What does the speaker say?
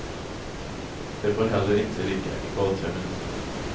De får heller inte ligga i gathörnen.